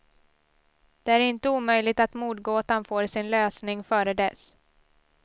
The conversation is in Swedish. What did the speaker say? Det är inte omöjligt att mordgåtan får sin lösning före dess.